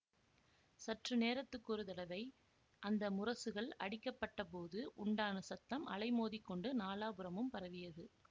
சற்று நேரத்துக்கொரு தடவை அந்த முரசுகள் அடிக்கப்பட்டபோது உண்டான சத்தம் அலைமோதிக்கொண்டு நாலாபுறமும் பரவியது